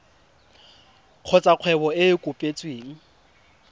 kgotsa kgwebo e e kopetsweng